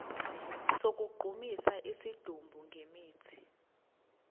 sokugqumisa isidumbu ngemithi